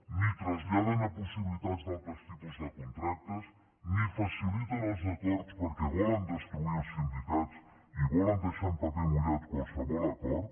ni traslladen a possibilitats d’altres tipus de contractes ni faciliten els acords perquè volen destruir els sindicats i volen deixar en paper mullat qualsevol acord